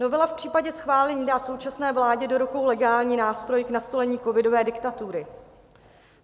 Novela v případě schválení dá současné vládě do rukou legální nástroj k nastolení covidové diktatury.